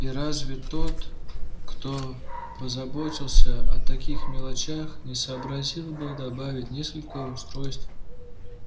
и разве тот кто позаботился о таких мелочах не сообразил бы добавить несколько устройств